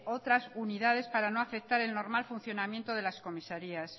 otras unidades para no afectar el normal funcionamiento de las comisarias